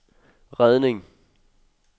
redning